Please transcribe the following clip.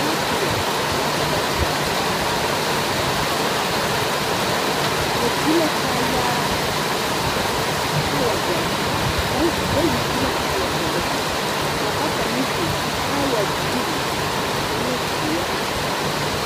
Saakaɛ la ka ba zaŋ a are ba su la kaayaa kaaya doɔre a kaŋ bayi su la kaaya doɔre kaa bata meŋ su kaaya buluu ane ziɛ.